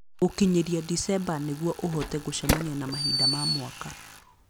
Gũkinyĩria Dicemba nĩguo ũhote gũcemania na mahinda ma mwaka